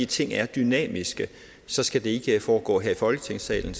ting er dynamiske så skal det ikke foregå her i folketingssalen